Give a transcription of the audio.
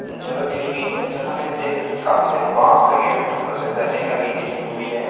जगह की ली गयी है जहाँ पे हम देख सकते है काफी सारे बास लगे हुए हैं। ऊपर से साट्रिंग लगाई हुई गई है।